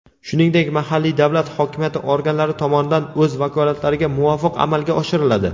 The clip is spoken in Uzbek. shuningdek mahalliy davlat hokimiyati organlari tomonidan o‘z vakolatlariga muvofiq amalga oshiriladi.